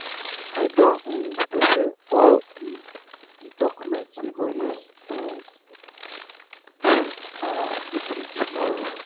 i don um prepare all um the documents we go use um do our meeting tomorrow.